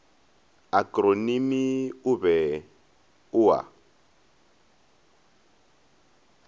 akronimi o be o a